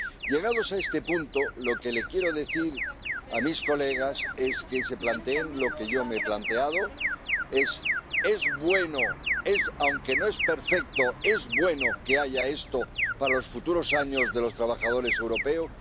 Llegados a este punto, lo que les quiero decir a mis colegas es que se planteen lo que yo me he planteado ¿es bueno, aunque no sea perfecto, es bueno que haya esto para los futuros años de los trabajadores europeos?